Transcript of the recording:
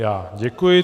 Já děkuji.